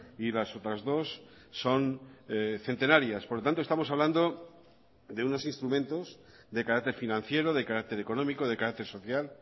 y las otras dos son centenarias por lo tanto estamos hablando de unos instrumentos de carácter financiero de carácter económico de carácter social